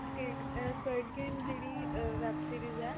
squid ah squid game ਜਿਹੜੀ web series ਏ